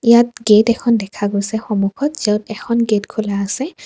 ইয়াত গেট এখন দেখা গৈছে সন্মুখত য'ত এখন গেট খোলা আছে।